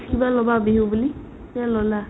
কিবা ল'বা বিহু বুলি নে ল'লা ?